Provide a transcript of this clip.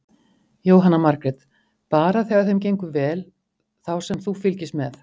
Jóhanna Margrét: Bara þegar þeim gengur vel þá sem þú fylgist með?